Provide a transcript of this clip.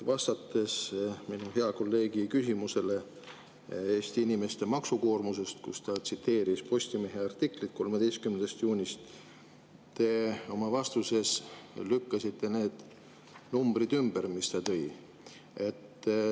Vastates minu hea kolleegi küsimusele Eesti inimeste maksukoormuse kohta, kus ta tsiteeris Postimehe artiklit 13. juunist, te lükkasite ümber need numbrid, mis ta välja tõi.